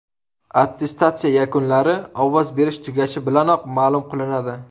Attestatsiya yakunlari ovoz berish tugashi bilanoq ma’lum qilinadi.